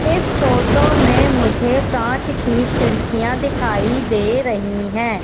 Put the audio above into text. इस फोटो में मुझे काँच की खिड़कियाँ दिखाई दे रही हैं।